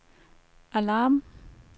alarm